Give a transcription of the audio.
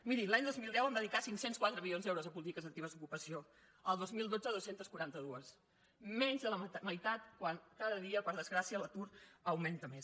miri l’any dos mil deu vam dedicar cinc cents i quatre milions d’euros a polítiques actives d’ocupació el dos mil dotze dos cents i quaranta dos menys de la meitat quan cada dia per desgràcia l’atur augmenta més